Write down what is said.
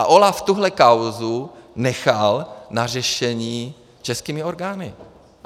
A OLAF tuhle kauzu nechal na řešení českými orgány.